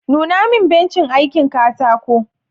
Nuna min bencin aikin katako